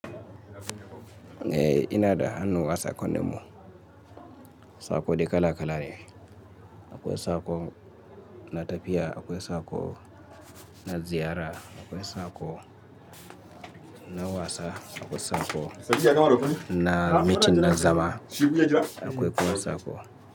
Ehh ina da hannu wasa kunne mu, sako dikala kalale. Akwai sako na tafiya, akwai sako na ziyara, akwai sako na wasa, akwai sako na mitin na zama, akwai kuma sako.